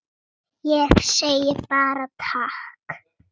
Ég segi bara takk.